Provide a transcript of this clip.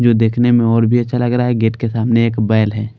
जो देखने में और भी अच्छा लग रहा है गेट के सामने एक बैल है।